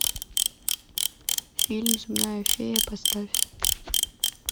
фильм земная фея поставь